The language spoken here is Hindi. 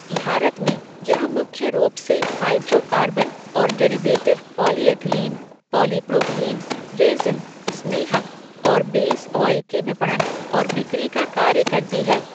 भारत में, यह मुख्य रूप से हाइड्रोकार्बन और डेरिवेटिव पॉलीएथीलीन, पॉलीप्रोपीलीन, रेज़िन, स्नेहक और बेस ऑयल के विपणन और बिक्री का कार्य करती है।